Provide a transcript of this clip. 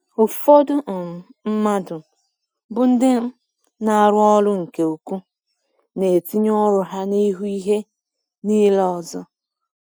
Ụfọdụ um mmadụ um bụ ndị um na-arụ ọrụ nke ukwuu, na-etinye ọrụ ha n’ihu ihe niile ọzọ.